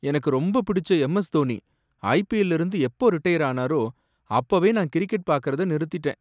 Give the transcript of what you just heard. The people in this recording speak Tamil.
எனக்கு ரொம்ப பிடிச்ச எம். எஸ்.தோனி ஐபிஎல்ல இருந்து எப்போ ரிட்டயர் ஆனாரோ, அப்பவே நான் கிரிக்கெட் பாக்கறத நிறுத்திட்டேன்.